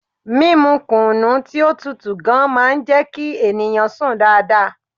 Mímu kùnú tí ó tutù gan-an máa ń jẹ́ kí ènìyàn sùn dáadáa.